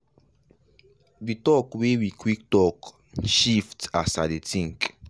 the talk wey we quick talk shift as i dey think.